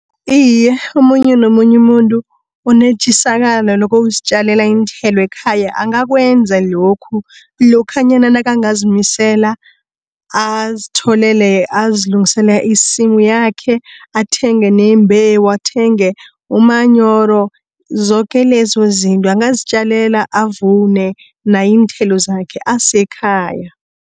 Iye omunye nomunye muntu unetjisakalo nokuzitjalela iinthelo ekhaya angakwenza lokhu, lokhanyana nakangazimisela azilungisela isimu yakhe. Athenge neembewu athenge umanyoro zoke lezozinto angazitjalela avune naye iinthelo zakhe asekhaya.